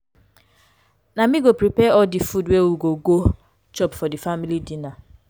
na me go prepare all di food wey we go go chop for di family dinner.